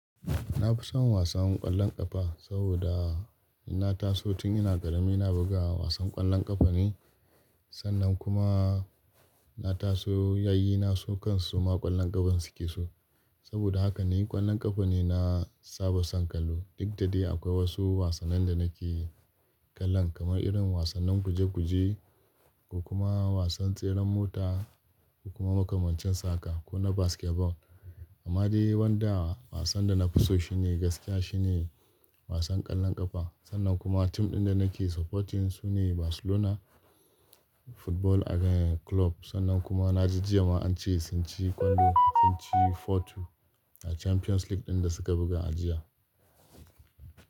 Na fi son wasan ƙwallon ƙafa saboda na taso tun ina ƙarami na buga wasan ƙwallon ƙafa ne. Sannan kuma na taso yayyi na su kansu ma ƙwallon ƙafa suke so. Saboda haka ni ƙwallon ƙafa ne na saba son kallo. Duk da dai akwai wasu wasannin da nake kallon kamar irin wasannin guje-guje, kuma wasan tseren mota, ko kuma makamancin sa haka ko na basketball. Amma dai wanda wasan da na fi so shi ne gaskiya shi ne wasan ƙwallon ƙafa. Sannan kuma tim ɗin da nake supporting su ne Barcelona Football Club. Sannan kuma na ji jiya ma ance sun ci kwallo, sun ci four-two a Champions League ɗin da suka buga a jiya.